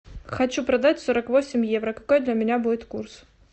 хочу продать сорок восемь евро какой для меня будет курс